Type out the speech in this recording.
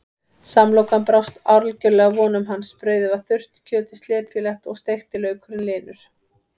Samlokan brást algjörlega vonum hans, brauðið var þurrt, kjötið slepjulegt og steikti laukurinn linur.